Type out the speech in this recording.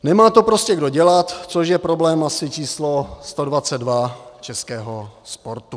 Nemá to prostě kdo dělat, což je problém asi číslo 122 českého sportu.